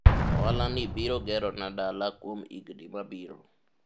ohala ni biro gero na dala kuom higni mabiro